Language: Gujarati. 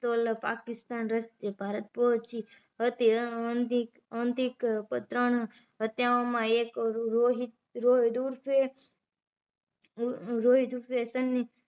પિસ્તોલો પાકીસ્તાન રસ્તે ભારત પોહચી હતી અંતિક અંતિક પર ત્રણ હત્યાઓ માં એક રોહિત ઉર્ફે રોહિત ઉર્ફે સન્ની